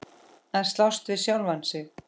Að slást við sjálfan sig.